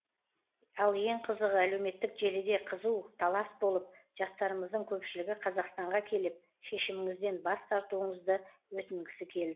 ал ең қызығы әлеуметтік желіде қызу талас болып жастарымыздың көпшілігі қазақстанға келіп шешіміңізден бас тартуыңызды өтінгісі келді